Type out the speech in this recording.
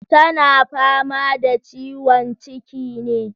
Tana fama da ciwon ciki ne?